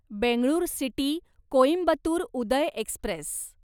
Bengaluru city Coimbatore Uday Express